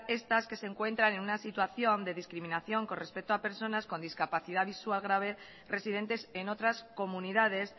estas que se encuentran en una situación de discriminación con respecto a personas con discapacidad visual grave residentes en otras comunidades